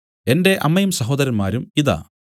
എന്റെ അമ്മയും സഹോദരന്മാരും ഇതാ